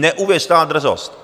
Neuvěřitelná drzost!